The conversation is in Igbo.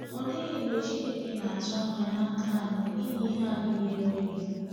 Ọ dịghị mgbe Chineke na-atụ anya n’aka anyị inye ihe anyị na-enweghi.